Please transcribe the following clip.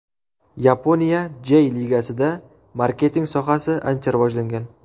Yaponiya Jey Ligasida marketing sohasi ancha rivojlangan.